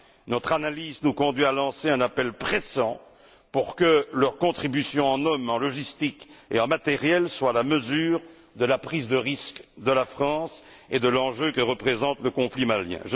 Notre analyse nous conduit à lancer un appel pressant, pour que leurs contributions en hommes, en logistique et en matériel soient à la mesure de la prise de risque de la France et de l'enjeu que représente le conflit malien.